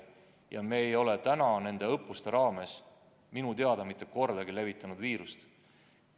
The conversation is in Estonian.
Ja me ei ole nende õppuste ajal minu teada mitte kordagi levitanud viirust.